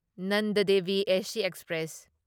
Nanda Devi AC express